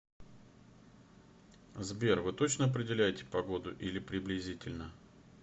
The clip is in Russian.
сбер вы точно определяете погоду или приблизительно